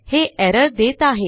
हे एरर देत आहे